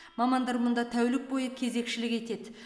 мамандар мұнда тәулік бойы кезекшілік етеді